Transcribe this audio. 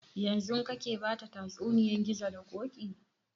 Yanzun kake bata tsatsuniyan gizo da ƙoƙi?